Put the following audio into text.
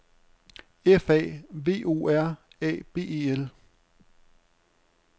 F A V O R A B E L